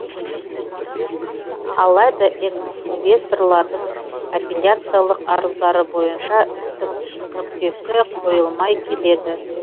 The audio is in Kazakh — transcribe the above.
алайда экс инвесторлардың аппиляциялық арыздары бойынша істің нүктесі қойылмай келеді